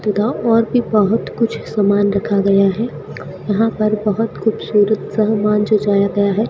तथा और भी बहोत कुछ सामान रखा गया है यहां पर बहोत खूबसूरत सामान सजाया गया है।